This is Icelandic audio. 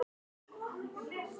Þú bjóst þetta mannsmorð til.